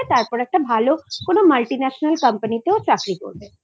তারপর একটা ভালো কোনো Multinational company তে চাকরি করবে। আচ্ছা